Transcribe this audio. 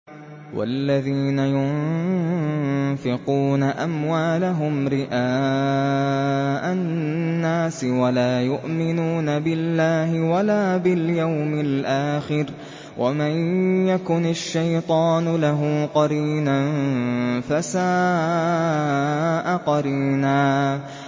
وَالَّذِينَ يُنفِقُونَ أَمْوَالَهُمْ رِئَاءَ النَّاسِ وَلَا يُؤْمِنُونَ بِاللَّهِ وَلَا بِالْيَوْمِ الْآخِرِ ۗ وَمَن يَكُنِ الشَّيْطَانُ لَهُ قَرِينًا فَسَاءَ قَرِينًا